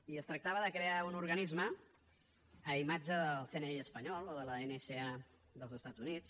i es tractava de crear un organisme a imatge del cni espanyol o l’nca dels estats units